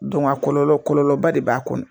a kɔlɔlɔ kɔlɔlɔba de b'a kɔnɔ.